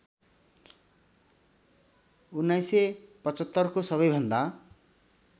१९७५ को सबैभन्दा